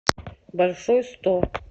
большой сто